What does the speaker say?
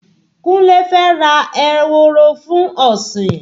Kunle fẹ́ ra ehoro fun ọ̀sìn